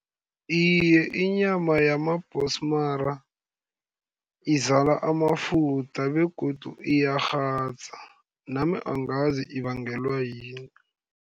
Iye, inyama yamabhosmara, izala amafutha begodu iyakghadza, nami angazi ibangelwa yini.